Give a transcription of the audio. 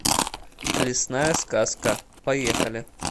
лесная сказка поехали